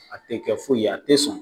a tɛ kɛ foyi ye a tɛ sɔn